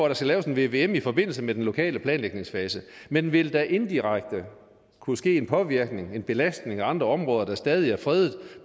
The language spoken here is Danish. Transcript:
der skal laves en vvm i forbindelse med den lokale planlægningsfase men ville der indirekte kunne ske en påvirkning en belastning af andre områder der stadig er fredede